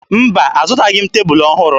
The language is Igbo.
Mba, azụtaghị m tebulu ọhụrụ